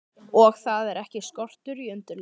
Og þar er ekki skortur á undirleik.